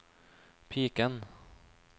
piken